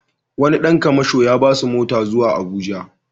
Wani ɗan kamasho ya ba su mota zuwa Abuja.